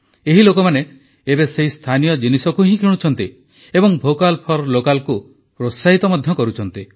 ଏହି ଲୋକମାନେ ଏବେ ସେହି ସ୍ଥାନୀୟ ଜିନିଷକୁ ହିଁ କିଣୁଛନ୍ତି ଏବଂ ଭୋକାଲ୍ ଫର୍ ଲୋକାଲ୍କୁ ପ୍ରୋତ୍ସାହିତ ମଧ୍ୟ କରୁଛନ୍ତି